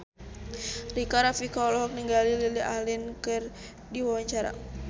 Rika Rafika olohok ningali Lily Allen keur diwawancara